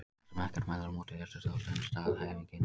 Þar sem ekkert mælir á móti þessu þá stenst staðhæfingin.